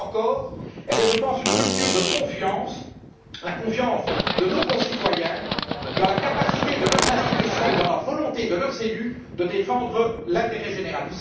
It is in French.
Pire encore, elle est, je pense, une rupture de confiance, la confiance de nos concitoyens dans la capacité de leurs institutions et dans la volonté de leurs élus de défendre l'intérêt général.